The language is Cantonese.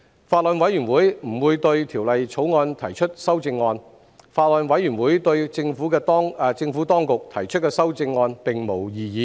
法案委員會不會對《條例草案》提出修正案。法案委員會對政府當局提出的修正案並無異議。